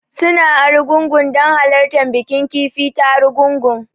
Suna Argungu don halartar bikin kifi ta Argungu